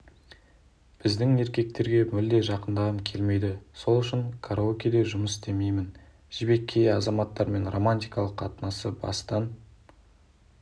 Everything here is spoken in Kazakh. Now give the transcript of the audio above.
біздің еркектерге мүлде жақындағым келмейді сол үшін караокеде жұмыс істеймін жібек кей азаматтармен романтикалық қатынасты бастан